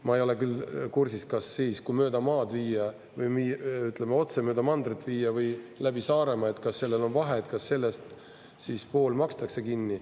Ma ei ole küll kursis, kas siis, kui mööda maad viia, või ütleme, otse mööda mandrit viia või läbi Saaremaa, kas sellel on vahe, kas sellest siis pool makstakse kinni.